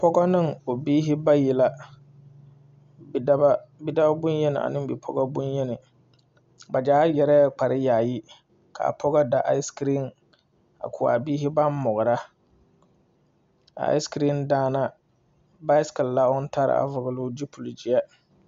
Pɔgɔ neŋ o biihi bayi la bidao bonyeni aneŋ bipɔgɔ bonyeni ba gyaa yɛrɛɛ kpare yaayi kaa pɔgɔ da icekreen a ko a biihi baŋ mɔgra a icekreen daana baaisikile la oŋ tare a vɔgloo zupil gyeɛ.